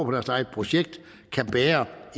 deres eget projekt kan bære